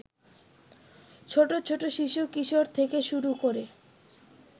ছোট ছোট শিশু-কিশোর থেকে শুরু করে